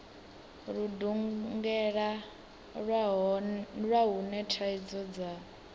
ludungela lwa hune thaidzo dza